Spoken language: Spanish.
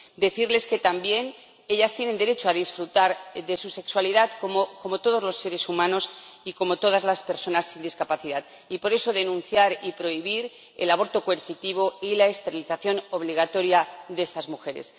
Ellas también tienen derecho a disfrutar de su sexualidad como todos los seres humanos y como todas las personas sin discapacidad y, por eso, se denuncia y se pide que se prohíba el aborto coercitivo y la esterilización obligatoria de estas mujeres